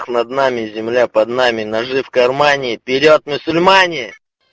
над нами земля под нами ножи в кармане вперёд мусульмане